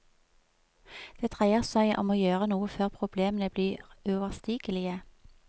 Det dreier seg om å gjøre noe før problemene blir uoverstigelige.